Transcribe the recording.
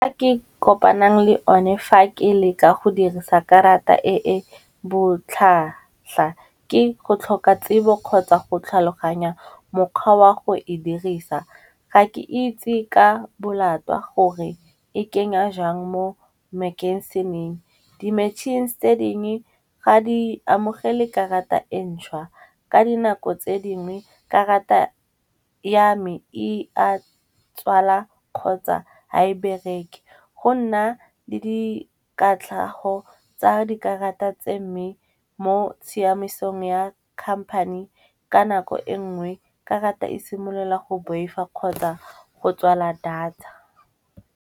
Ke kopanang le o ne fa ke le ka go dirisa karata e e botlhatlha, ke go tlhoka tsebo kgotsa go tlhaloganya mokgwa wa go e dirisa. Ga ke itse ka bolatwa gore e kenya jang mo makhenseneng. Di-machines tse dingwe ga di amogele karata e ntšhwa ka dinako tse dingwe karata ya me e a tswalwa kgotsa ha e bereke. Go nna le dikatlhago tsa dikarata tse mme mo tshiamisong ya khamphane ka nako e nngwe, karata e simolola go boifa kgotsa go tswala data.